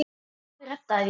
Afi reddaði því.